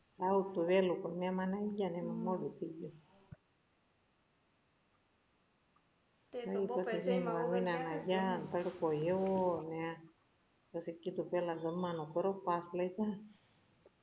આવું તું વહેલું પણ મેહમાન આવી ગયા એમાં મોડું થઇગયું ત્યાં તડકો એવોને પછી કીધું પહેલા જમવાનું કરો pass